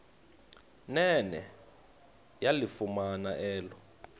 nene yalifumana elo